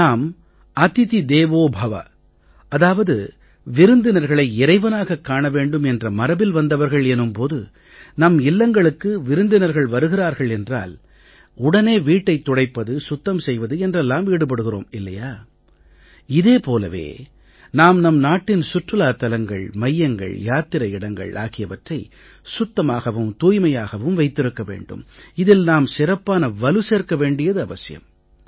நாம் அதிதி தேவோ பவ அதாவது விருந்தினர்களை இறைவனாகக் காண வேண்டும் என்ற மரபில் வந்தவர்கள் எனும் போது நம் இல்லங்களுக்கு விருந்தினர்கள் வருகிறார்கள் என்றால் உடனே வீட்டைத் துடைப்பது சுத்தம் செய்வது என்றெல்லாம் ஈடுபடுகிறோம் இல்லையா இதே போலவே நாம் நம் நாட்டின் சுற்றுலாத் தலங்கள் மையங்கள் யாத்திரை இடங்கள் ஆகியவற்றை சுத்தமாகவும் தூய்மையாகவும் வைத்திருக்க வேண்டும் இதில் நாம் சிறப்பான வலு சேர்க்க வேண்டுவது அவசியம்